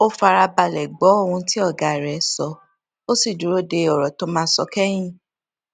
ó fara balè gbó ohun tí ọga rè sọ ó sì dúró de òrò tó máa sọ kéyìn